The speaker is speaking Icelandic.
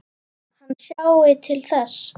Hann sjái til þess.